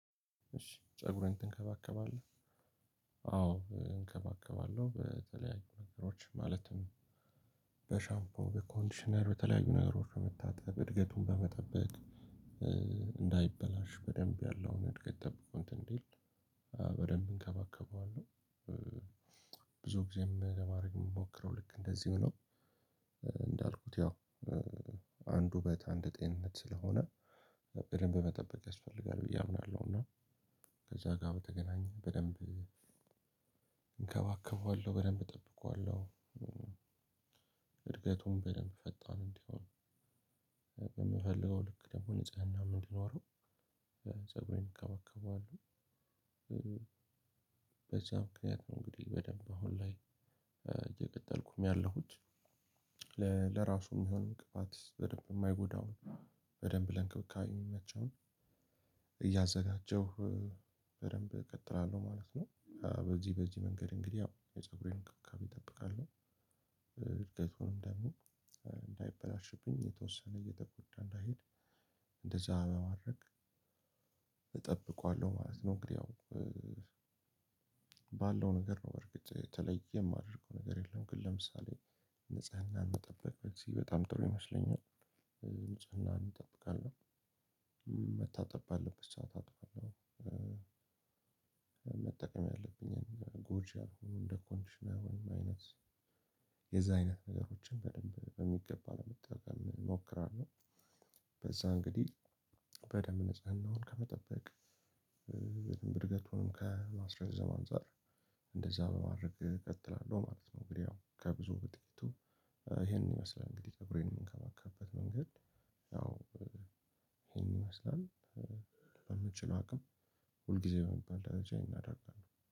እሺ ፀጉርህን ትንከባከባለህ? አዎ እንከባከባለሁ በተለያዩ ነገሮች ማለትም በሻምፖ በኮንዲሽነር በተለያዩ ነገሮች በመታጠብ እድገቱን በመጠበቅ እንዳይበላሽ በደንብ ያለውን እድገት ጠብቆ እንትን እንዴ በደንብ እንከባከበዋለሁ። ብዙ ጊዜም ለማድረግ የምሞክረው ልክ እንደዚሁ ነው። እንዳልኩት ያው አንዱ በታንደ ጤንነት ስለሆነ በደንብ መጠበቅ ያስፈልጋል ብዬ አምናለሁ። እና ከዛ ጋር በተገናኘ በደንብ እንከባከበዋለሁ በደንብ እጠብቀዋለሁ። እድገቱን በደንብ ፈጣን እንዲሆን የምፈልገው ልክ ደግሞ ንጽህናም እንዲኖረው ፀጉሬን እንከባከባለሁ። በዛ ምክንያት ነው እንግዲህ በደንብ አሁን ላይ እየቀጠልኩም ያለሁት ለራሱ የሚሆን እንቅፋት በደንብ የማይጎዳውን በደንብ ለንክብካቤ የሚመቸውን እያዘጋጀሁ በደንብ እከተላለሁ ማለት ነው። በዚህ በዚህ መንገድ እንግዲህ ያው የፀጉሬን እንክብካቤ እጠብቃለሁ ደግሞ እንዳይበላሽብኝ የተወሰነ እየተጎዳ እንዳይሄድ እንደዛ በማረግ እጠብቀዋለሁ ማለት ነው። እንግዲህ ያው ባለው ነገር ነው በርግጥ የተለየ የማደርገው ነገር የለም። ግን ለምሳሌ ንጽህናን መጠበቅ በጣም ጥሩ ይመስለኛል። ንጽህናን እጠብቃለሁ መታጠብ ባለብት ሰዓት አጥባለሁ። መጠቀም ያለብኝን ጎጂ ያልሎኑ እንደ ኮንዲሽነር አይነት የዛ አይነት ነገሮችን በደንብ በሚገባ ለመጠቀም እሞክራለሁ። በዛ እንግዲህ በደንብ ንጽህናውን ከመጠበቅ እድገቱንም ከማስረዘም አንፃር እንደዛ በማድረግ እቀጥላለሁ ማለት ነው። እንግዲህ ያው ከብዙ በጥቂቱ ይሄንን ይመስላል እንግዲህ ፀጉሬን የምንከባከበት መንገድ ያው ይሄን ይመስላል በምችለው አቅም ሁልጊዜ በሚባል ደረጃ ይሄን አደርጋለሁ